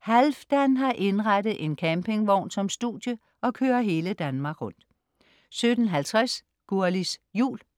Halfdan har indrettet en campingvogn som studie og kører hele Danmark rundt 17.50 Gurlis Jul